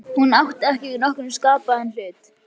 Hún átti ekki við nokkurn skapaðan hlut.